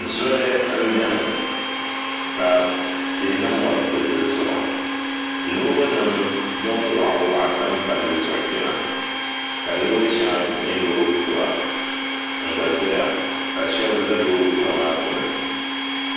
Zoli n biɛni ka tihi ni mɔri bili dizuɣu loori nim din waɣa waɣa tam palli zuɣu chɛna ka Loori shɛŋa nyɛ loori kura n gba ʒɛya ka shab ƶɛ loori kura maa gbuni